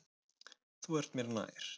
Þú ert mér nær.